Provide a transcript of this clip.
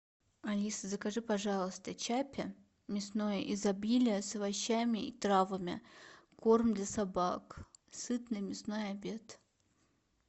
алиса закажи пожалуйста чаппи мясное изобилие с овощами и травами корм для собак сытный мясной обед